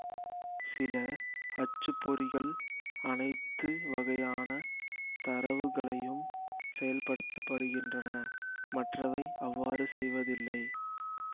சில அச்சு பொறிகள் அனைத்து வகையான தரவுகளையும் செயல்படுத்த படுகின்றன மற்றவை அவ்வாறு செய்வதில்லை